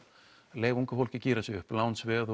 leyfa ungu fólki að gíra sig upp lánsveð